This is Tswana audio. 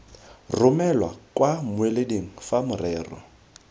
romelwa kwa mmueleding fa morero